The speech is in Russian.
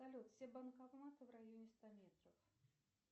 салют все банкоматы в районе ста метров